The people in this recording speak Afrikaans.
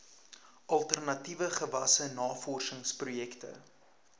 alternatiewe gewasse navorsingsprojekte